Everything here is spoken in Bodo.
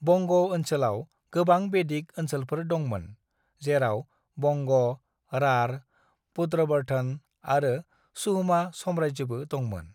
"वंग ओनसोलाव गोबां बेदिक ओनसोलफोर दंमोन, जेराव वंग, राढ़, पुंड्रबर्धन आरो सुह्मा साम्रायजोबो दंमोन।"